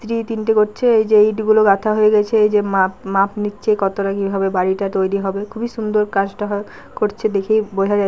দুই তিনটে করছে যে ইটগুলো গাঁথা হয়ে রয়েছে এইযে মাপ মাপ নিচ্ছে কতটা কিভাবে বাড়িটা তৈরি হবে খুবই সুন্দর কাজটা হ করছে দেখেই বোঝা যাচ্ছে।